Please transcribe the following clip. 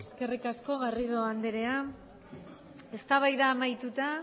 eskerrik asko garrido andrea eztabaida amaituta